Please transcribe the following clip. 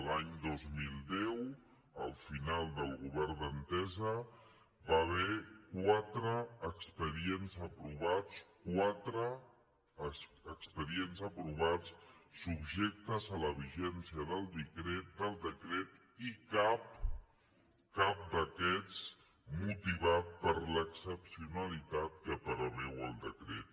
l’any dos mil deu al final del govern d’entesa hi va haver qua·tre expedients aprovats quatre expedients aprovats subjectes a la vigència del decret i cap cap d’aquests motivat per l’excepcionalitat que preveu el decret